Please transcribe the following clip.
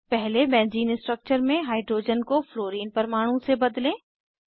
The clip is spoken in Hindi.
पहले बेंज़ीन स्ट्रक्चर में हाइड्रोजन को फ्लोरिन फ्लोरीन परमाणु से बदलें